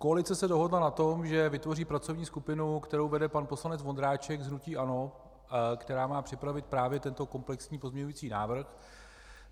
Koalice se dohodla na tom, že vytvoří pracovní skupinu, kterou vede pan poslanec Vondráček z hnutí ANO, která má připravit právě tento komplexní pozměňovací návrh.